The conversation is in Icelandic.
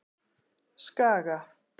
Skaga